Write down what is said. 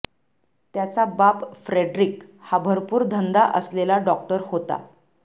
त्याचा बाप फ्रेडरिक हा भरपूर धंदा असलेला डॉक्टर होता